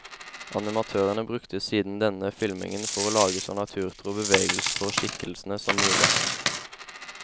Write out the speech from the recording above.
Animatørene brukte siden denne filmingen for å lage så naturtro bevegelser på skikkelsene som mulig.